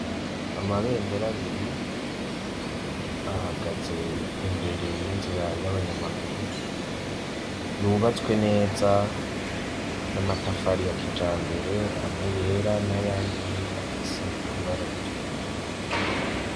Amabendera abiri, ahagaze imbere y'inzira y'abanyamaguru yubatswe neza n'amatafari ya kijambere amwe yera n'ayandi afise ibara ritukura.